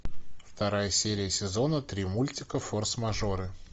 вторая серия сезона три мультика форс мажоры